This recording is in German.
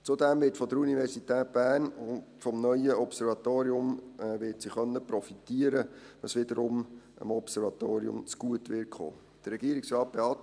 Zudem wird die Universität Bern vom neuen Observatorium profitieren können, was wiederum dem Observatorium zugutekommen wird.